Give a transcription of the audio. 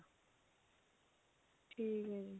ਠੀਕ ਹੈ ਜੀ